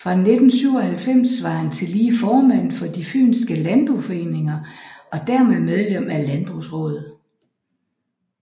Fra 1997 var han tillige formand for De fynske Landboforeninger og dermed medlem af Landbrugsraadet